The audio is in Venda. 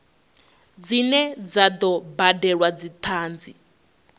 dzine dza do badelwa dzithanzi